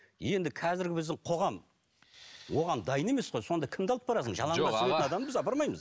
енді қазіргі біздің қоғам оған дайын емес қой сонда кімді алып барасың апармаймыз